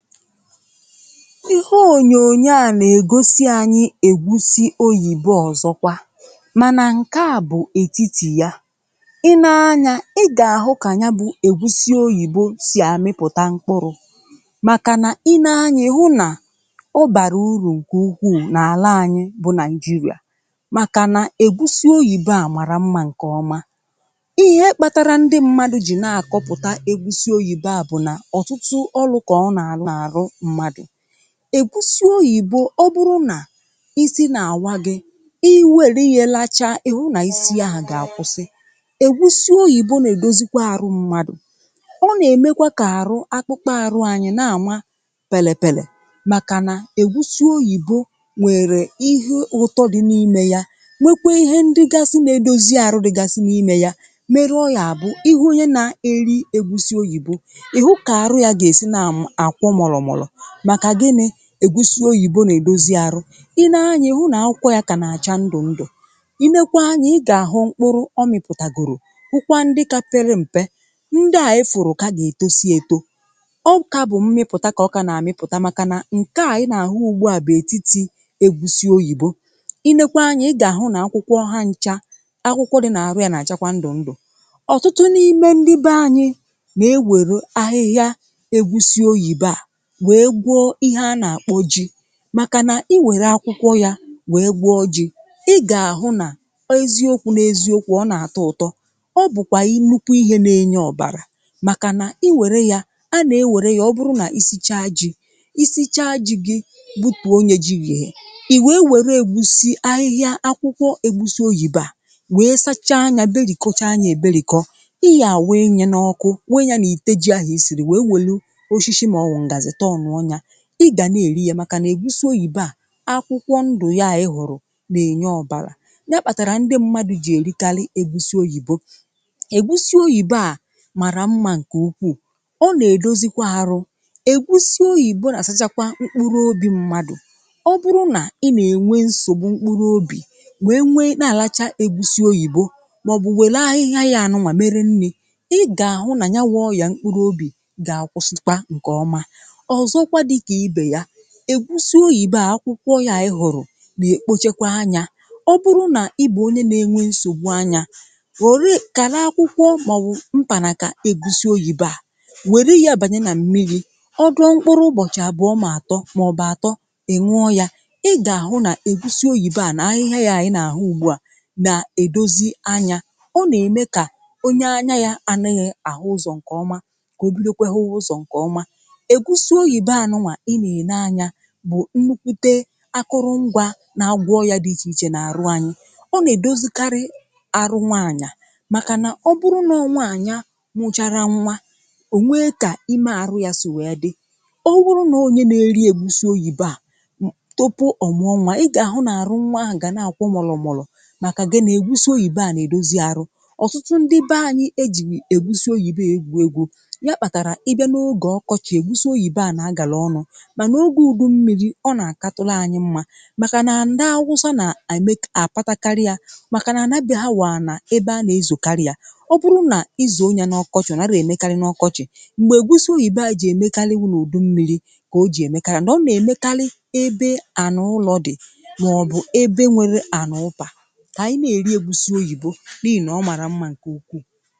Ihe onyoònyo a nà-ègosi anyị̇ ègwusi oyìbo ọzọkwa mànà ǹke a bụ̀ ètiti ya. Ị nee anya ị gà-àhụ kà ya bụ ègwusi oyìbo sì àmịpụ̀ta mkpụrụ màkà nà i nee anya ị hụ nà ọ bàrà urù ǹkè ukwuù n’àla anyị̇ bụ Nigeria màkànà ègwusi oyìbo à màrà mma ǹkè ọma. Ihe kpatara ndị mmadụ jì na-àkọpụ̀ta ègwusi oyìbo à bụ̀ nà ọtụtụ ọrụ ka ọ na-arụ n'arụ mmadu. Ègwusi oyìbo ọ bụrụ nà i si na-awa gị̇, ị wère nye lachaa ị̀hụ nà i si ahụ̀ gà-àkwụsị. Ègwusi oyìbo nà-èdozikwa arụ mmadụ̀, ọ nà-èmekwa kà àrụ akpụkpọ àrụ anyị na-àma pèlèpèlè màkà nà ègwusi oyìbo nwèrè ihe ụtọ dị n’ime ya nwekwe ihe ndịgasị nà-edozi àrụ dịgasị n’ime ya mere ọgà àbụ ihụ onye na-eri ègwusi oyìbo ihụ ka arụ ya ga-esi na um akwọ mùrùmùrù, maka gini, ègwusi oyibo na-edozi arụ. Ị nee anya ihụ na akwụkwọ ka na-acha ndu ndu. Ị leekwa anyị̇, ị gà-àhụ mkpụrụ ọ mịpụtàgòrò wụkwa ndị ka pere m̀pe, ndị à ị fùrù kà nà-ètosi èto, ọ kà bụ̀ mmịpụ̀ta kà ọ kà nà-àmịpụta màkà nà ǹke à ị nà-àhụ ugbu à bụ̀ ètiti ègwusi oyibo. Ị neekwa anya ị gà-àhụ nà akwụkwọ ha ncha akwụkwọ dị n’àrụ ya nà-àchakwa ndụ̀ ndụ̀. Ọtụtụ n’ime ndị be anyị̇ nà-ewèrè ahịhịa ègwusi oyìbo à wee gwọọ ihe a nà-àkpọ ji. Màkà nà ị wère akwụkwọ ya wee gwọọ ji, ị gà-àhụ nà eziokwu n’eziokwu ọ nà-àtọ ụ̀tọ, ọ bụ̀kwà i nnukwu ihe nà-enye ọ̀bàrà màkà nà ị wère ya a nà-ewère ya ọ bụrụ nà ị sichaa ji i sichaa ji̇ gi butù nya ji yee ị wee wère ègwusi ahịhịa akwụkwọ ègwusi oyìbo a wee sachaa nya berikọọcha nya èberikọ ị ga wịị nya n’ọkụ wịị nya n’ite ji ahụ̀ i sìrì wee wèlu ooshịshị maọbụ ngazi tọọnụọ nya. Ị gà na-èri ya màkà nà ègwusi oyìbo à akwụkwọ ndụ̀ ya à i hụ̀rụ̀ nà-ènye ọbàlà nya kpàtàrà ndị mmadụ̇ jì èrikarị ègwusi oyìbo. Ègwusi oyìbo à màrà mma ǹkè ukwuu ọ nà-èdozikwa arụ ègwusi oyìbo nà-àsachakwa mkpụrụ obi mmadụ̀ ọ bụrụ nà ị nà-ènwe nsògbu mkpụrụ obì wee nwe na-àlacha ègwusi oyìbo màọ̀bụ̀ wèle ahịhịa ya ànụwà mere nni̇ ị gà-àhụ nà nyawụ ọya mkpụrụ obì gà-àkwụsịkwa ǹkè ọma. Ọzọkwa dịka ibe ya, ègwusi oyìbo à akwụkwọ ya ị hụ̀rụ̀ nà èkpochekwa anya ọ bụrụ nà ị bụ onye na-enwe nsògbu anya were kàlà akwụkwọ màọbụ mpànàkà ègwusi oyìbo à wère ya bànye nà mmiri̇, ọ dụ̀ọ mkpụrụ ụbọ̀chị̀ àbụ̀ọ mà àtọ màọbụ̀ àtọ ị̀ nwụọ ya, ị gà-àhụ nà ègwusi oyìbo à nà ahịhịa yà ị nà àhụ ugbu à nà-èdozi anya; ọ nà-ème kà onye anya ya anịghị̇ àhụ ụzọ̀ ǹkè ọma kà òbidokwe hụwa ụzọ̀ ǹkè ọma. Ègwusi oyìbo ànụwà ị na-ene anya bụ ǹnukwute akụrụ ngwa nà agwọọ ọya dị ichè ichè nà-àrụ anyị̇. Ọnà-èdozìkarị arụ nwaànya màkà nà ọ bụrụ nà ọ nwaànya mụchara nwa ò nwee kà ime àrụ ya sì wèe dị ọ bụrụ nàọ onye na-eri ègwusi oyìbo à um tupu ọ̀mụ̀ọ nwà ị gà-àhụ nà-àrụ nwa ahụ̀ gà na-àkwọ mùlùmùlù màkà gịnị ègwusi oyìbo à nà-èdozi arụ. Ọ̀tụtụ ndị be anyị̇ ejghịì ègwusi oyìbo a ègwu egwu ya kpatara na ị bịa n'oge ọkọchị ègwusi oyìbo a na-agalọọnụ mana oge udu mmịrị̇ ọ nà-àkà tụlụ anyị mma màkà nà ndị awụsa nà- um àpàtàkarị à màkà nà àna be ha wù anà ebe à nà-ezò karịa ọ bụrụ nà izụọ nyà n’ọkọchị ọ̀ nàghị emekarị n’ọkọchị̀, m̀gbè ègwusi oyìbo à jì èmekarị wu n'ùdu mmịrị̇ kà o jì èmekarị and ọ nà-èmekarị ebe ànà úló dị̀ màọ̀bụ̀ ebe nwere ànà ụpà. Kà anyị nà-èri ègwusi oyìbo n’ịhị nà ọ màrà mma ǹkè ukwuù